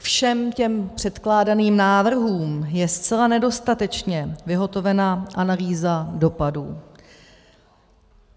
Všem těm předkládaným návrhům je zcela nedostatečně vyhotovena analýza dopadů.